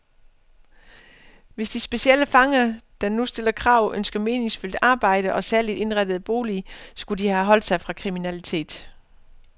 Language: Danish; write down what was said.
Hvis de specielle fanger, der nu stiller krav, ønsker meningsfyldt arbejde og særligt indrettede boliger, skulle de have holdt sig fra kriminalitet.